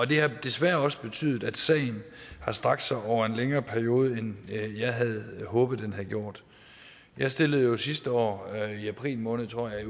det har desværre også betydet at sagen har strakt sig over en længere periode end jeg havde håbet den havde gjort jeg stillede jo sidste år i april måned tror jeg